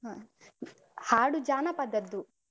ಹ ಹಾಡು ಜಾನಪದದ್ದು.